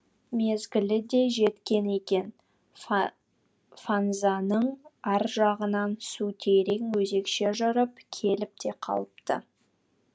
мезгілі де жеткен екен фанзаның ар жағынан су терең өзекше жырып келіп те қалыпты